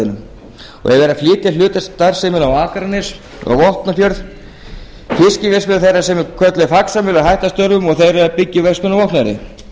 verið að flytja hluta af starfseminni á akranes og vopnafjörð fiskverksmiðja þeirra sem er kölluð faxamjöl er að hætta störfum og þeir eru að byggja upp verksmiðju á vopnafirði